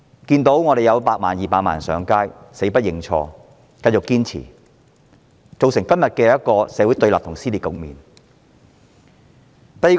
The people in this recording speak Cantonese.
即使100萬、200萬人上街，她仍堅持死不認錯，造成今天社會對立及撕裂的局面。